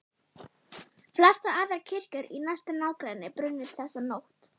Flestar aðrar kirkjur í næsta nágrenni brunnu þessa nótt.